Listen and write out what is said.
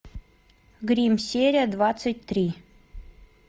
гримм серия двадцать три